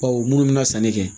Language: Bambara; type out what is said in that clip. Bawo minnu bɛ na sanni kɛ